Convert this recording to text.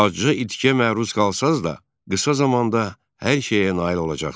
Acı itkiyə məruz qalsanız da, qısa zamanda hər şeyə nail olacaqsız.